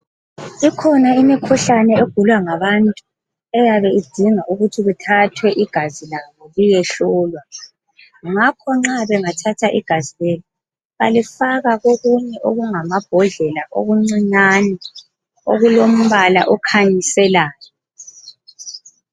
Ikhona imikhuhlane egulwa ngabantu eyabe idinga ukuthi kuthathwe igazi labo liyehlolwa. Ngakho nxa bengathatha igazi lelo balifaka lokunye okungamabhodlela okuncinyane okulombala okhanyiselayo.